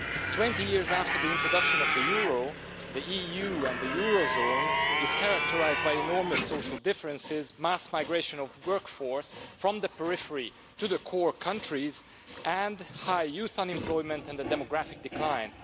Twenty years after the introduction of the euro, the EU and the eurozone are characterised by enormous social differences, mass migration of the work force from the periphery to the core countries, high youth unemployment and the demographic decline.